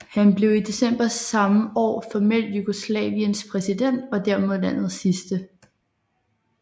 Han blev i december samme år formelt Jugoslaviens præsident og dermed landets sidste